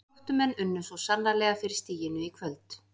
Gróttumenn unnu svo sannarlega fyrir stiginu í kvöld.